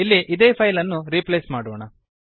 ಇಲ್ಲಿ ಇದೇ ಫೈಲ್ ಅನ್ನು ರೀಪ್ಲೇಸ್ ಮಾಡೋಣ